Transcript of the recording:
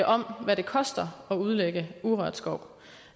om hvad det koster at udlægge urørt skov